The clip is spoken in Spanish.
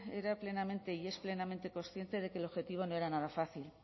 era plenamente y es plenamente consciente de que el objetivo no era nada fácil